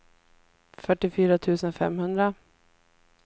fyrtiofyra tusen femhundra